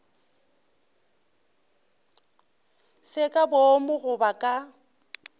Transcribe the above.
se ka boomo goba ka